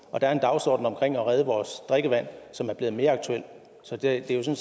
og der er en dagsorden omkring at redde vores drikkevand som er blevet mere aktuel så det er jo